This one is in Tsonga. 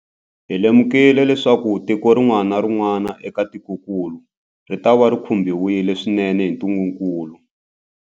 Hi lemukile leswaku tiko rin'wana na rin'wana eka tikokulu ritava ri khumbiwile swinene hi ntungukulu.